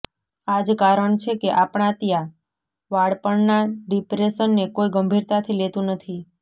આ જ કારણ છે કે આપણા ત્યાં બાળપણના ડિપ્રેશનને કોઈ ગંભીરતાથી લેતું નથી